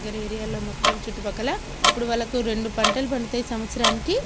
గరేరియలో మొత్తం చుట్టుపక్కలా అప్పుడు వాళ్ళకి రెండు పంటలు పండుతాయ్ సంవత్సరానికి.